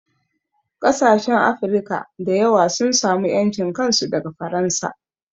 Ƙasashen Afirka da yawa sun samu ƴancin kansu daga Faransa